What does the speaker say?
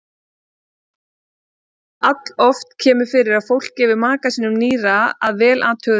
Alloft kemur fyrir að fólk gefi maka sínum nýra að vel athuguðu máli.